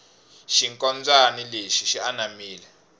xinkombyani lexi xi anamile